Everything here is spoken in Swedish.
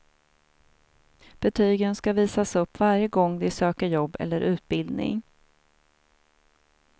Betygen ska visas upp varje gång de söker jobb eller utbildning.